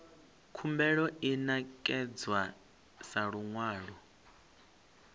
khumbelo i ṋekedzwa sa luṅwalo